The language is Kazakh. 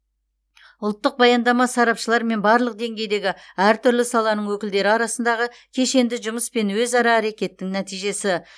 ұлттық баяндама сарапшылар мен барлық деңгейдегі әртүрлі саланың өкілдері арасындағы кешенді жұмыс пен өзара әрекеттің нәтижесі